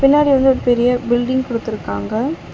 பின்னாடி வந்து ஒரு பெரிய பில்டிங் குடுத்துருக்காங்க.